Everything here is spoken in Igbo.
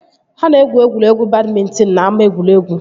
Ha na-egwu egwuregwu badmịntịn n'ama egwuregwu